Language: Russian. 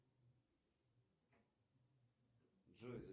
сбер пополни баланс телефона брата